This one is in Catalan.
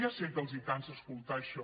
ja sé que els cansa escoltar això